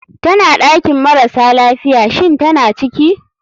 Tana ɗakin marasa lafiya, shinn tana ciki?